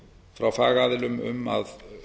frá fagaðilum um að